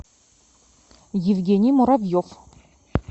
евгений муравьев